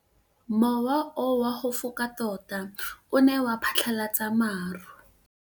Mowa o wa go foka tota o ne wa phatlalatsa maru.